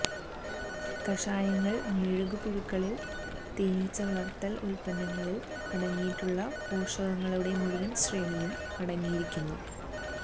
കഷായങ്ങൾ മെഴുകു പുഴുക്കളിൽ തേനീച്ചവളർത്തൽ ഉൽപ്പന്നങ്ങളിൽ അടങ്ങിയിട്ടുള്ള പോഷകങ്ങളുടെ മുഴുവൻ ശ്രേണിയും അടങ്ങിയിരിക്കുന്നു